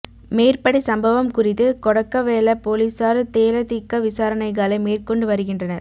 மேற்படி சம்பவம் குறித்து கொடக்கவெல பொலிஸார் தேலதிக விசாரணைகளை மேற்கொண்டு வருகின்றனர்